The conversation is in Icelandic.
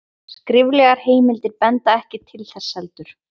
skriflegar heimildir benda ekki til þess heldur